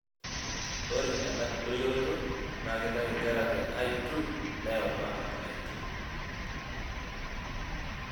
Ore ena doyioroto na keitayu nkera te l2 neyau mpaka l2.